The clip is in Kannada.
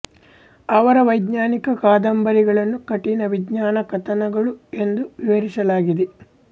ಅವರ ವೈಜ್ಞಾನಿಕ ಕಾದಂಬರಿಗಳನ್ನು ಕಠಿಣ ವಿಜ್ಞಾನ ಕಥನಗಳು ಎಂದು ವಿವರಿಸಲಾಗಿದೆ